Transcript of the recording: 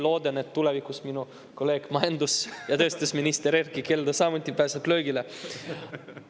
Loodan, et tulevikus minu kolleeg majandus‑ ja tööstusminister Erkki Keldo samuti pääseb löögile.